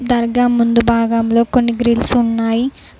దర్గా ముందు భాగంలో కొన్ని గ్రిల్స్ ఉన్నాయి.